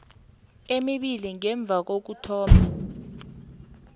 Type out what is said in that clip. emibili ngemva kokuthoma